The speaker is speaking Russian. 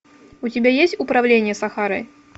у тебя есть управление сахарой